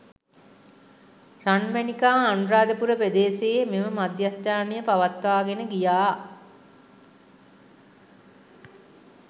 රන්මැණිකා අනුරාධපුර ප්‍රදේශයේ මෙම මධ්‍යස්ථානය පවත්වාගෙන ගියා